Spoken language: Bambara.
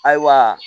Ayiwa